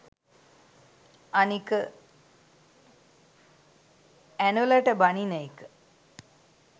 අනික ඇනොලට බනින එක